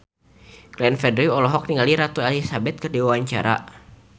Glenn Fredly olohok ningali Ratu Elizabeth keur diwawancara